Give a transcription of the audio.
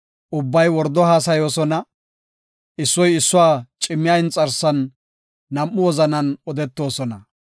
Ubbay wordo haasayoosona; issoy issuwa cimmiya inxarsan nam7u wozanan odetoosona.